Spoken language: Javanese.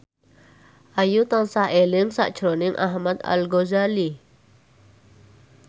Ayu tansah eling sakjroning Ahmad Al Ghazali